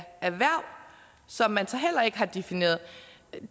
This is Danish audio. erhverv som man så heller ikke har defineret